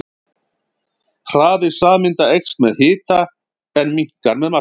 Hraði sameinda eykst með hita en minnkar með massa.